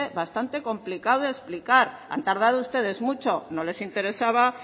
bastante complicado de explicar han tardado ustedes mucho no les interesaba